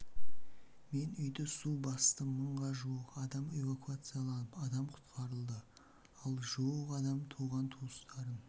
мен үйді су басты мыңға жуық адам эвакуацияланып адам құтқарылды ал жуық адам туған туыстарын